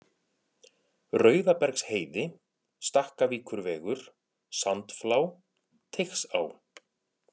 Rauðabergsheiði, Stakkavíkurvegur, Sandflá, Teigsá